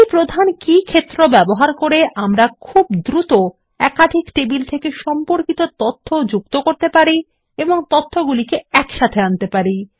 এই প্রধান কী ক্ষেত্র ব্যবহার করে আমরা খুব দ্রুত একাধিক টেবিল থেকে সম্পর্কিত তথ্য যুক্ত করতে পারি এবং তথ্যগুলি একসাথে আনতে পারি